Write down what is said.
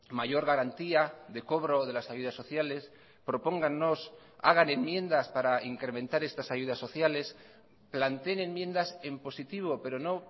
mayor garantía de cobro de las ayudas sociales propónganos hagan enmiendas para incrementar estas ayudas sociales planteen enmiendas en positivo pero no